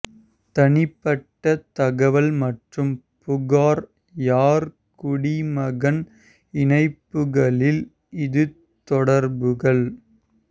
தனிப்பட்ட தகவல் மற்றும் புகார் யார் குடிமகன் இணைப்புகளில் இது தொடர்புகள்